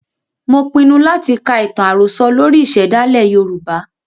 Mo pinu láti ka ìtàn àròsọ lórí ìsèdálè Yorùbá.